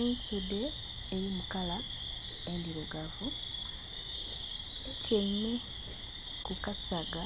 Ensudhe eri mu kala endhirugavu etyaime kukasaga